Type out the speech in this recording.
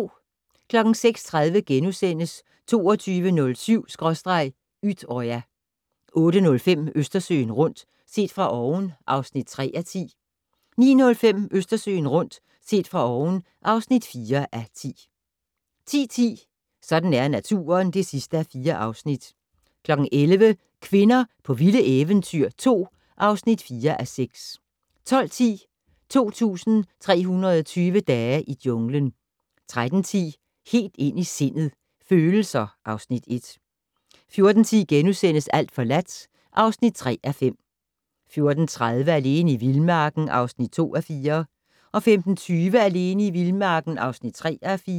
06:30: 22.07/Utøya * 08:05: Østersøen rundt - set fra oven (3:10) 09:05: Østersøen rundt - set fra oven (4:10) 10:10: Sådan er naturen (4:4) 11:00: Kvinder på vilde eventyr 2 (4:6) 12:10: 2320 dage i junglen 13:10: Helt ind i sindet: Følelser (Afs. 1) 14:10: Alt forladt (3:5)* 14:30: Alene i vildmarken (2:4) 15:20: Alene i vildmarken (3:4)